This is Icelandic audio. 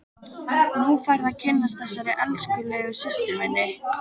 Nú færðu að kynnast þessari elskulegu systur minni!